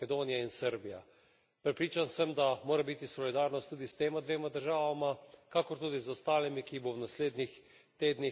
Prepričan sem, da mora biti solidarnost tudi s tema dvema državama, kakor tudi z ostalimi, ki jih bo v naslednjih tednih prizadela kriza.